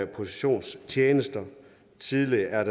positionstjenester tidligere er